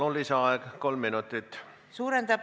Palun, lisaaeg kolm minutit!